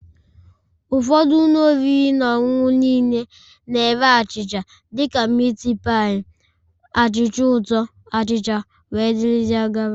Ụfọdụ ụlọ oriri na ọṅụṅụ niile na-ere achịcha dị ka miti pailu, achịcha ụtọ, achịcha wdg